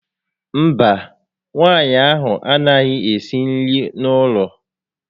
Mba, nwaanyị ahụ a naghị ésí nri n'ụlọ